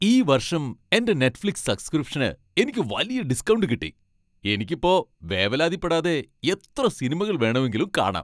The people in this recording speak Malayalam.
ഈ വർഷം എന്റെ നെറ്റ്ഫ്ലിക്സ് സബ്സ്ക്രിപ്ഷന് എനിക്ക് വലിയ ഡിസ്കൗണ്ട് കിട്ടി . എനിക്കിപ്പോ വേവലാതിപ്പെടാതെ എത്ര സിനിമകൾ വേണമെങ്കിലും കാണാം.